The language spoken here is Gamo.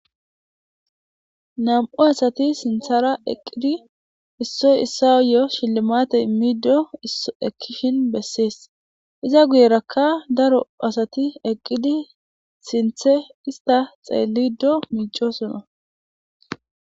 Nam7u asati sinthara eqqidi issoy issayo shillimate immido ekishin bessees iza guyerakka daro asati eqqidi sinthe ista xeellido miico sona.